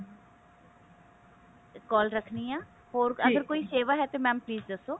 call ਰੱਖਣੀ ਆ ਕੋਈ ਸੇਵਾ ਹੈ ਤੇ mam please ਦੱਸੋ